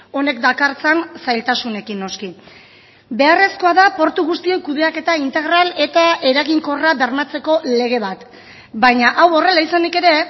honek dakartzan zailtasunekin noski beharrezkoa da portu guztien kudeaketa integral eta eraginkorra bermatzeko lege bat baina hau horrela izanik ere